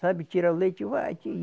Sabe, tira o leite, vai ti